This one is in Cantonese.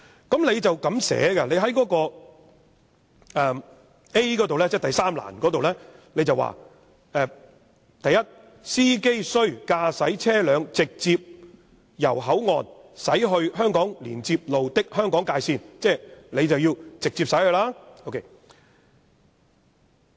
當中第3欄所須符合的條件第 a 段是這樣寫："司機須駕駛車輛直接由香港口岸駛至位於香港連接路的香港界線"，即要直接駛往。